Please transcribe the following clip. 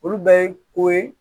Olu bɛɛ ye ko ye